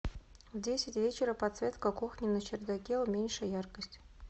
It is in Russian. в десять вечера подсветка кухни на чердаке уменьши яркость